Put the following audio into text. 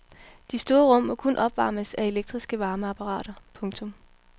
De store rum må kun opvarmes af elektriske varmeapparater. punktum